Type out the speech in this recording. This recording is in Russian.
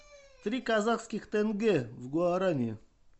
три казахских тенге в гуарани